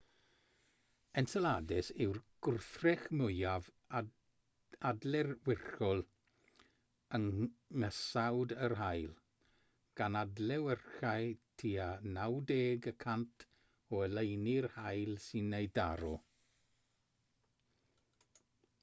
enceladus yw'r gwrthrych mwyaf adlewyrchol yng nghysawd yr haul gan adlewyrchu tua 90 y cant o oleuni'r haul sy'n ei daro